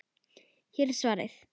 Hér er svarið.